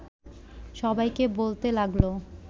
সবাইকে বলতে লাগল